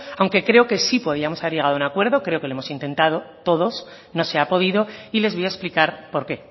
aunque creo que sí podríamos haber llegado a un acuerdo creo que lo hemos intentado todos no se ha podido y les voy a explicar por qué